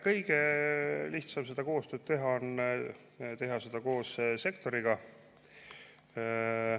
Kõige lihtsam seda koostööd teha on teha seda koos sektoriga.